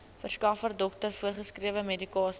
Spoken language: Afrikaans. verskaffer dokter voorgeskrewemedikasie